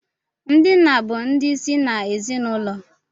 Ndi nna bụ ndị ịsị n' ezinaụlọ